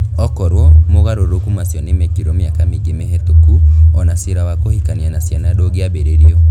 OKorũo mogarũrũku macio nĩ mekirwo mĩaka mĩingĩ mĩhĩtũku, o na cira wa kũhikania na ciana ndũngĩambĩrĩirio.